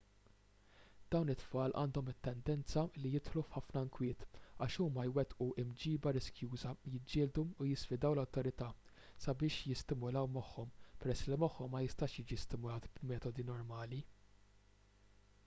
dawn it-tfal għandhom it-tendenza li jidħlu f'ħafna inkwiet għax huma jwettqu mġiba riskjuża jiġġieldu u jisfidaw l-awtorità sabiex jistimulaw moħħhom peress li moħħhom ma jistax jiġi stimulat b'metodi normali